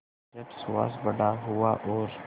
जब सुहास बड़ा हुआ और